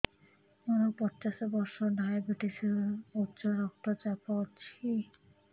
ମୋର ପଚାଶ ବର୍ଷ ଡାଏବେଟିସ ଉଚ୍ଚ ରକ୍ତ ଚାପ ଅଛି